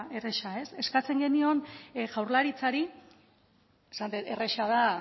erraza eskatzen genion jaurlaritzari esaten dut erraza da